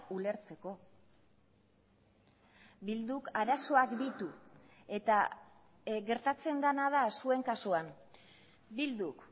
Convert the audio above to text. ulertzeko bilduk arazoak ditu eta gertatzen dena da zuen kasuan bilduk